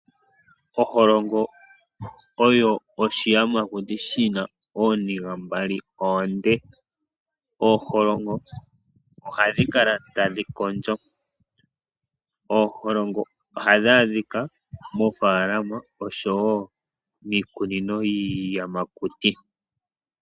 Oholongo oyo oshiyamakuti shi na ooniga mbali oonde. Ooholongo ohadhi kala tadhi kondjo. Ooholongo ohadhi adhika moofaalama osho wo miikunino yiiyamakuti.